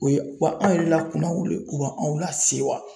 O ye, wa anw yɛrɛ la kunnawolo ye u bɛ anw lasewa .